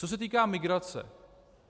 Co se týká migrace.